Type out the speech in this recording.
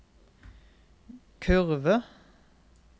kurve